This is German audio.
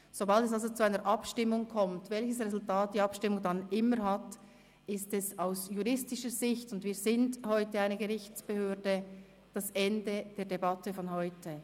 Sobald es also zu einer Abstimmung kommt – egal welches Resultat die Abstimmung dann hat –, ist es aus juristischer Sicht, und wir sind heute eine Gerichtsbehörde, das Ende der Debatte von heute.